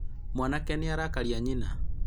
mwanake nĩ arakaria nyina